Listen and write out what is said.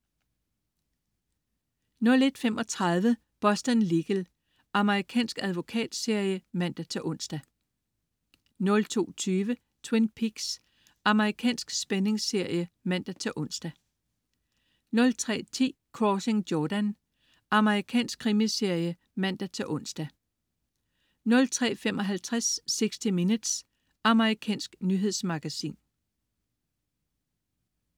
01.35 Boston Legal. Amerikansk advokatserie (man-ons) 02.20 Twin Peaks. Amerikansk spændingsserie (man-ons) 03.10 Crossing Jordan. Amerikansk krimiserie (man-ons) 03.55 60 Minutes. Amerikansk nyhedsmagasin